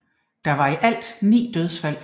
Der var i alt 9 dødsfald